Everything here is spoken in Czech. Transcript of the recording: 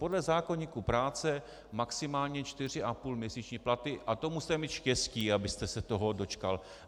Podle zákoníku práce maximálně čtyři a půl měsíčního platu a to musíte mít štěstí, abyste se toho dočkal.